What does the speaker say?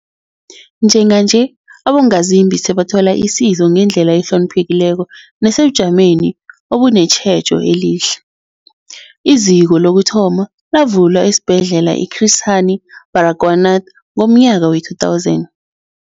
Njenganje, abongazimbi sebathola isizo ngendlela ehloniphekileko nesebujameni obunetjhejo elihle. IZiko lokuthoma lavulwa esiBhedlela i-Chris Hani Baragwanath ngomnyaka we-2000.